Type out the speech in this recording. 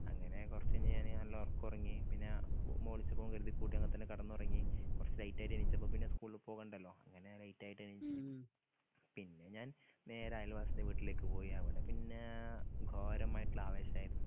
അങ്ങനെ കൊറച്ച്ഞ്ഞയ്ന് ഞാന് നല്ല ഒറക്കൊറങ്ങി പിന്നെ ഞാൻ മ്മ വുളിച്ചപ്പോ ഓൻ കര്തി കൂട്ടെന്ന് വന്നപ്പോ കടന്നൊറങ്ങി കൊറച്ച് ലൈറ്റ് ആയിട്ട് എണീച്ചപ്പം പിന്നെ സ്കൂൾല് പോവണ്ടല്ലോ അങ്ങനെ ലൈറ്റായിട്ട് എണീച്ചു പിന്നെ ഞാൻ നേരയൽവാസിടെ വീട്ടിലേക്ക് പോയി അവടെ പിന്നാ ഗാരമായിട്ട്ള്ള ആവേശായിരുന്നു